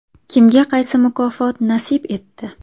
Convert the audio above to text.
Kimga qaysi mukofot nasib etdi?